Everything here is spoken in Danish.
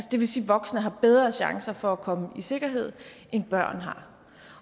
det vil sige at voksne har bedre chancer for komme i sikkerhed end børn har